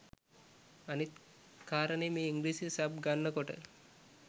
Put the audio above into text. අනිත් කාරණේ මේ ඉංග්‍රිසි සබ් ගන්න කොට